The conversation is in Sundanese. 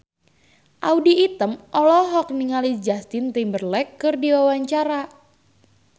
Audy Item olohok ningali Justin Timberlake keur diwawancara